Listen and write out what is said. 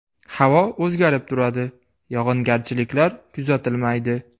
Havo o‘zgarib turadi, yog‘ingarchiliklar kuzatilmaydi.